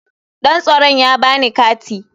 Dan tsaron ya ba ni kati.